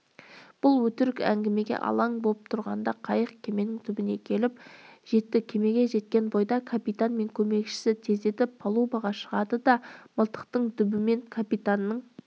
бұл өтірік әңгімеге алаң боп тұрғанда қайық кеменің түбіне келіп жетті кемеге жеткен бойда капитан мен көмекшісі тездетіп палубаға шығады да мылтықтың дүбімен капитанның